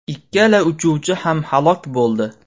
Ikkala uchuvchi ham halok bo‘ldi.